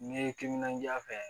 N'i ye timinandiya fɛ